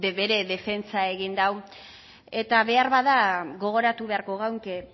bere defentsa egin du eta beharbada gogoratu beharko geunke